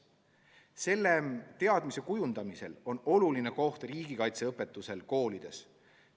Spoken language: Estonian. Selle teadmise kujundamisel on tähtis koht riigikaitseõpetusel koolides.